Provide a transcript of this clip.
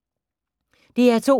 DR2